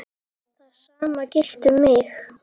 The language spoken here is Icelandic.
Það sama gilti um mig.